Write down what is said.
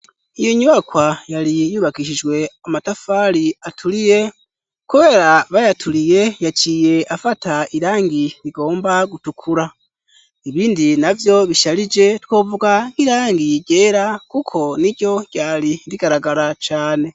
Iyo nyubakwa yari yubakishijwe amatafari aturiye kubera bayaturiye yaciye afata irangi rigomba gutukura ibindi navyo bisharije twovuga nk'irangi gera kuko n'iryo ryari rigaragara cane.